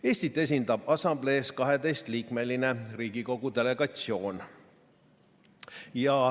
Eestit esindab assamblees 12-liikmeline Riigikogu delegatsioon.